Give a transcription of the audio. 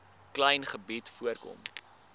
klein gebied voorkom